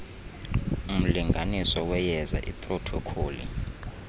umlinganiso weyeza iprothokholi